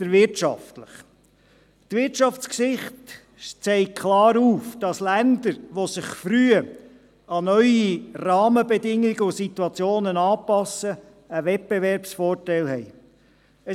Der wirtschaftliche Punkt: Die Wirtschaftsgeschichte zeigt klar auf, dass Länder, die sich früh an neue Rahmenbedingungen und Situationen anpassen, einen Wettbewerbsvorteil haben.